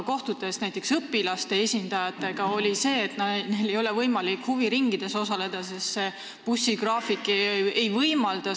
Kohtudes õpilaste esindajatega, tulid välja nende mured, näiteks see, et neil ei ole võimalik huviringides osaleda, kuna bussigraafik seda ei võimalda.